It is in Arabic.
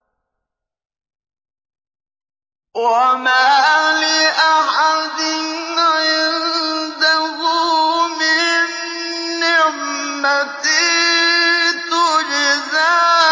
وَمَا لِأَحَدٍ عِندَهُ مِن نِّعْمَةٍ تُجْزَىٰ